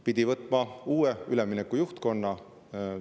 Pidi võtma uue üleminekujuhtkonna.